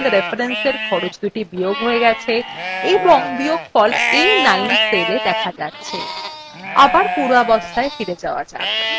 দেখুন দুটি cell references খরচদুটি বিয়োগ we গেছে এবং বিয়োগফল a9 cellwe দেখা যাচ্ছে